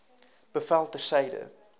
bevel ter syde